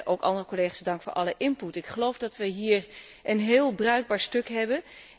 Ook de andere collega's, dank voor alle input. Ik geloof dat we hier een heel bruikbaar stuk hebben.